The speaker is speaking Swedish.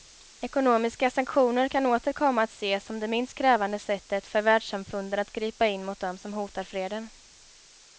Ekonomiska sanktioner kan åter komma att ses som det minst krävande sättet för världssamfundet att gripa in mot dem som hotar freden.